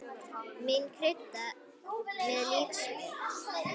Má krydda með líkjör.